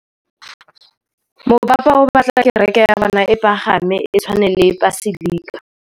Mopapa o batla kereke ya bone e pagame, e tshwane le paselika.